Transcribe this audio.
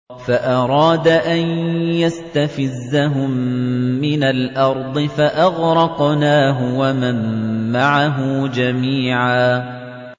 فَأَرَادَ أَن يَسْتَفِزَّهُم مِّنَ الْأَرْضِ فَأَغْرَقْنَاهُ وَمَن مَّعَهُ جَمِيعًا